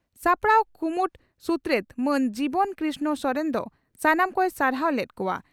ᱥᱟᱯᱲᱟᱣ ᱠᱩᱢᱩᱴ ᱥᱩᱛᱨᱮᱛ ᱢᱟᱱ ᱡᱤᱵᱚᱱ ᱠᱨᱤᱥᱱᱚ ᱥᱚᱨᱮᱱ ᱫᱚ ᱥᱟᱱᱟᱢ ᱠᱚᱭ ᱥᱟᱨᱦᱟᱣ ᱞᱮᱫ ᱠᱚᱜᱼᱟ ᱾